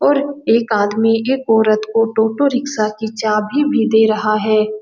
और एक आदमी एक औरत को टोटो रिक्शा की चाबी भी दे रहा है।